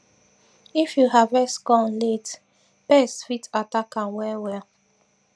if you harvest corn late pest fit attack am well well